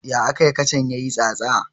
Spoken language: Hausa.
Ya akayi kacan ya yi tsatsa?